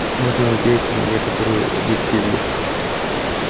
можно надеяться на некоторую объективность